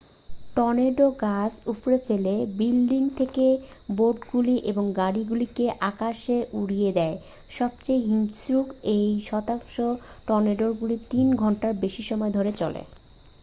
tornado গাছ উপড়ে ফেলে বিল্ডিং থেকে বোর্ডগুলি এবং গাড়িগুলিকে আকাশে উড়িয়ে দেয় সবচেয়ে হিংস্র দুই শতাংশ টর্নেডোগুলি তিন ঘন্টারও বেশি সময় ধরে চলে